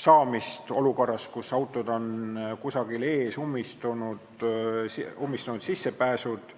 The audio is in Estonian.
saamist olukorras, kus autod on kusagil ees, nad on ummistanud sissepääsud.